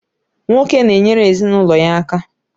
Nwoke na-enyere ezinụlọ ya aka.